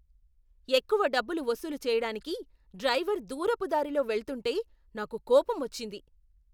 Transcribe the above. ఎక్కువ డబ్బులు వసూలు చెయ్యడానికి డ్రైవర్ దూరపు దారిలో వెళ్తుంటే నాకు కోపం వచ్చింది.